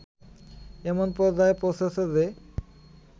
এমন পর্যায়ে পৌঁছেছে যে